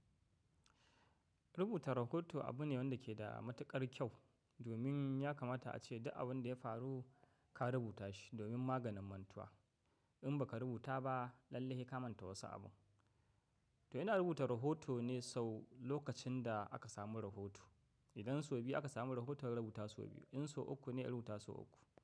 Rubuta rahoto abu ne wanda ke da matuƙar kyau domin ya kamata ace duk abin da ya faru ka rubuta shi domin maganin mantuwa. In baka rubuta ba, lallai sai ka manta wasu abun. To ina rubuta rahoto ne sau lokacin da aka samu rahoto. Idan sau biyu aka samu rahoto in rubuta sau biyu, in so uku in rubuta sau uku.